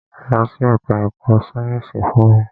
Lọ sí ẹka ẹ̀kọ́ sáyẹnsì fún mi!